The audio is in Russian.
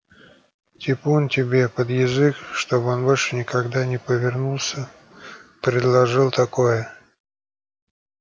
типун тебе под язык чтобы он больше никогда не повернулся предложил такое